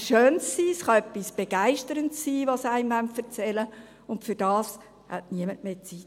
Es kann etwas Schönes oder Begeisterndes sein, das sie einem erzählen wollen, und dafür hat niemand mehr Zeit.